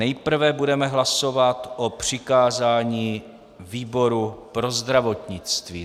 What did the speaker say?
Nejprve budeme hlasovat o přikázání výboru pro zdravotnictví.